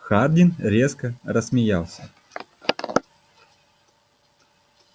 хардин резко рассмеялся